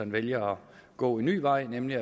vælger at gå en ny vej nemlig